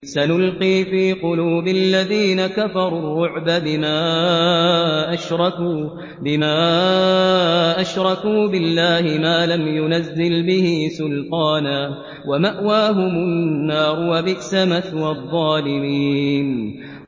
سَنُلْقِي فِي قُلُوبِ الَّذِينَ كَفَرُوا الرُّعْبَ بِمَا أَشْرَكُوا بِاللَّهِ مَا لَمْ يُنَزِّلْ بِهِ سُلْطَانًا ۖ وَمَأْوَاهُمُ النَّارُ ۚ وَبِئْسَ مَثْوَى الظَّالِمِينَ